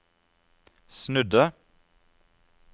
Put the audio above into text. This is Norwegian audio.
snudde